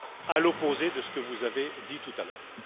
à l'opposé de ce que vous avez dit tout à l'heure.